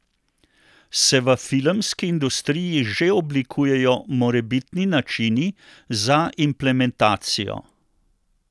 Se v filmski industriji že oblikujejo morebitni načini za implementacijo?